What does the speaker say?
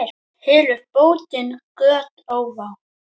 Hylur bótin göt ófá.